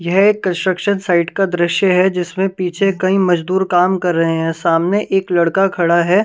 यह construction site का दृश्य है जिसमें पीछे कई मजदूर काम कर रहे हैं सामने एक लड़का खड़ा है ।